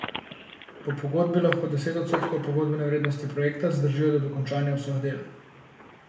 Po pogodbi lahko deset odstotkov pogodbene vrednosti projekta zadržijo do končanja vseh del.